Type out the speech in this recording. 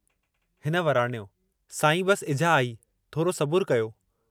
हिन वराणियो साईं, बस इझा आई थोरो सबुरु कयो?